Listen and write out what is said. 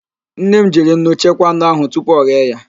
Nne m jiri nnu chekwaa anụ ahụ tupu oghee ya